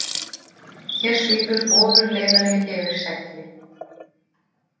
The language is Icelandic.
Hér svífur ofurleiðari yfir segli.